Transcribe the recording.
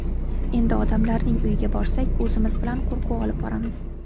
Endi odamlarning uyiga borsak, o‘zimiz bilan qo‘rquv olib boramiz.